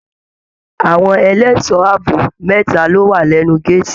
Àwọn ẹlẹṣọ ààbò mẹta lo wa lẹnu gàátí.